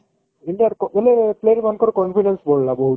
india କୁ ବେଲେ player ମାନଙ୍କର confidence ବଢିଲା ବହୁତ